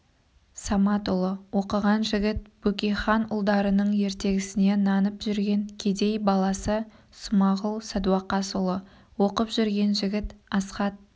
саматұлы оқыған жігіт бөкейханұлдарының ертегісіне нанып жүрген кедей баласы смағұл садуақасұлы оқып жүрген жігіт асқат